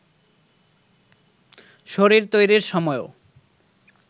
শরীর তৈরির সময়ও